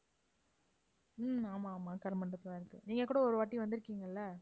உம் ஆமா, ஆமா கருமண்டபத்துல தான் இருக்கு. நீங்கக் கூட ஒரு வாட்டி வந்திருக்கீங்கல்ல